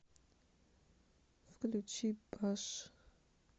включи баш